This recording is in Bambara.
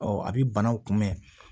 a bɛ banaw kunbɛn